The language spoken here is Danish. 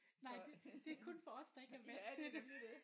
Nej det det kun for os der ikke er vant til det